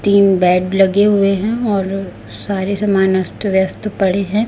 तीन बेड लगे हुए हैं और सारे सामान अस्त व्यस्त पड़े हैं।